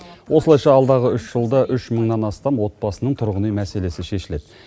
осылайша алдағы үш жылда үш мыңнан астам отбасының тұрғын үй мәселесі шешіледі